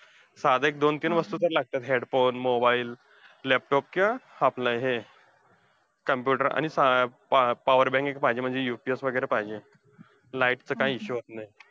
साधं एक दोन तीन वस्तू तर लागत्यात, headphone, mobile, laptop किंवा आपलं हे computer. आणि power bank एक पाहिजे. म्हणजे UPS वगैरे पाहिजे. light चा काही issue असला तर.